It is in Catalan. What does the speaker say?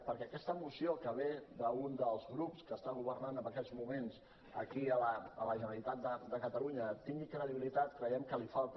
perquè aquesta moció que ve d’un dels grups que està governant en aquests moments aquí a la generalitat de catalunya tingui credibilitat creiem que li falta